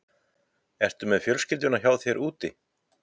Ertu með fjölskylduna hjá þér úti?